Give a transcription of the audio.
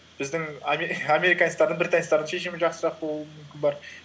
біздің американецтердің британецтердің шешімі жақсырақ болуы мүмкін бар